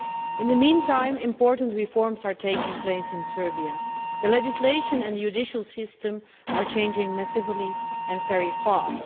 In the meantime, important reforms are taking place in Serbia. The legislative and judicial systems are changing massively and very fast.